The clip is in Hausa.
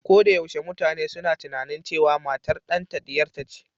Ko da yaushe mutane suna tunanin cewa matar ɗanta ɗiyarta ce